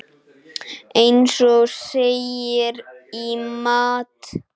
Eins og segir í Matt.